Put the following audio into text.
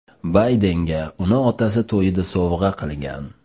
Baydenga uni otasi to‘yida sovg‘a qilgan.